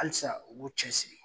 Halisa u bo cɛ siri.